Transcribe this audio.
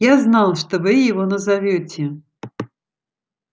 я знал что вы его назовёте